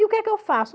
E o que é que eu faço?